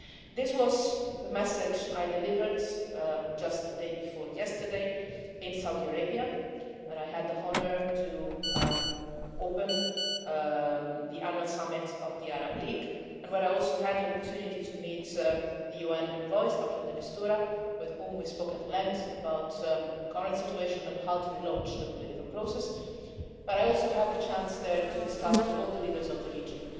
This was the message that I delivered just the day before yesterday in Saudi Arabia, where I had the honour to open the Annual Summit of the Arab League and where I also had the opportunity to meet the UN Special Envoy, Staffan de Mistura, with whom I spoke at length about the current situation and how to relaunch the political process. I also had the chance there to discuss and share with all the leaders of the region